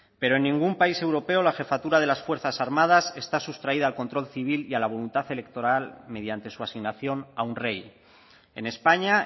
pero en ningún país europeo la jefatura de las fuerzas armadas está sustraída al control civil y a la voluntad electoral mediante su asignación a un rey en españa